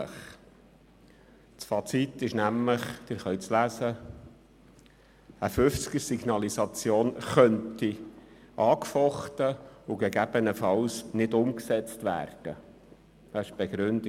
Das Fazit ist nämlich – Sie können es lesen –, dass eine Signalisation von 50 km/h angefochten und gegebenenfalls nicht umgesetzt werden könnte.